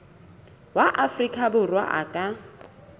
wa afrika borwa a ka